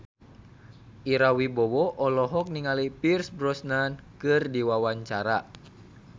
Ira Wibowo olohok ningali Pierce Brosnan keur diwawancara